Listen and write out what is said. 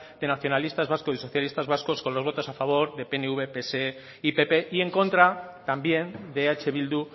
de nacionalistas vascos y socialistas vascos con los votos a favor de pnv pse y pp y en contra también de eh bildu